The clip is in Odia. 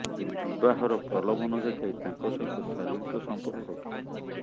ବିବାହର ପ୍ରଲୋଭନ ଦେଖାଇ ତାଙ୍କ ସହିତ ଶାରୀରିକ ସମ୍ପର୍କ ରଖିଥିଲା